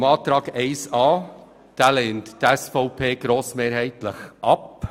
Zu Planungserklärung 1a: Die SVP lehnt diese grossmehrheitlich ab.